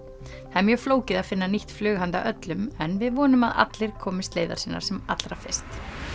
það er mjög flókið að finna nýtt flug handa öllum en við vonum að allir komist leiðar sinnar sem allra fyrst